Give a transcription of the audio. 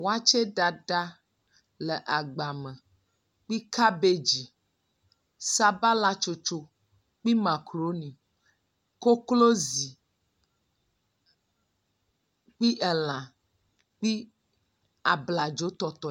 wɔtsɛ ɖaɖa le agba me kpi cabbage sabala tsotso kpi makroni koklozi kpi elã kpi abladzo tɔtɔe